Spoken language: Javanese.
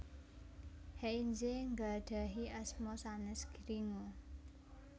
Heinze nggadhahi asma sanes Gringo